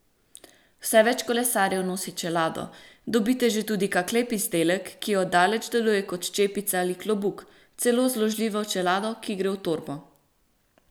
Vse več kolesarjev nosi čelado, dobite že tudi kak lep izdelek, ki od daleč deluje kot čepica ali klobuk, celo zložljivo čelado, ki gre v torbo.